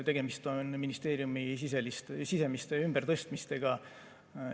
Tegemist on ministeeriumide sisemiste ümbertõstmistega.